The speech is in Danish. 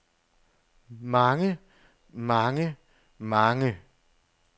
mange mange mange